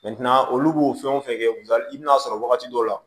olu b'o fɛn wo fɛn kɛ i bi n'a sɔrɔ wagati dɔw la